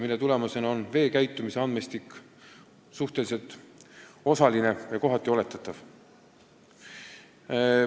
Nii ongi andmed vee käitumise kohta osalised ja mõnel puhul oletatavad.